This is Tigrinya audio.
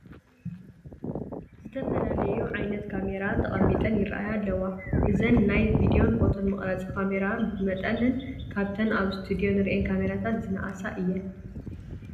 ዝተፈላለያ ዓይነት ካሜራ ተቐሚጠን ይርአያ ኣለዋ፡፡ እዘና ናይ ቪድዮን ፎቶን መቕረፂ ካሚራታት ብመጠነን ካብተን ኣብ እስቱድዮ ንሪኦን ካሜራታት ዝነኣሳ እየን፡፡